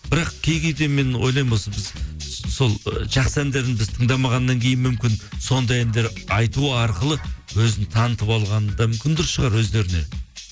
бірақ кей кейде мен ойлаймын осы біз сол ы жақсы әндерін біз тыңдамағаннан кейін мүмкін сондай әндер айту арқылы өзін танытып алғаны да мүмкін дұрыс шығар өздеріне